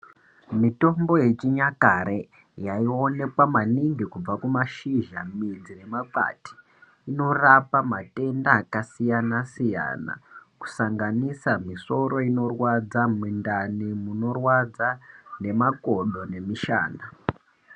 Mitombo yechinyakare yaionekwa maningi kubva kumashizha, midzi nemakwati inorapa matenda akasiyana siyana, kusanganisa misoro inorwadza, mindani munorwadza nemakodo nemishana.